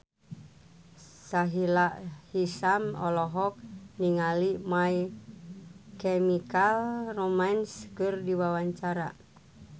Sahila Hisyam olohok ningali My Chemical Romance keur diwawancara